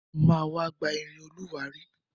Mo ma wá gba irin olùwárí.